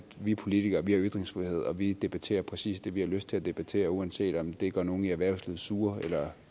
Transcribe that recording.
vi politikere har ytringsfrihed og vi debatterer præcis det vi har lyst til at debattere uanset om det gør nogen i erhvervslivet sure eller